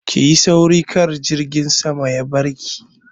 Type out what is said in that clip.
Ki yi sauri kar jirgin sama ya barki!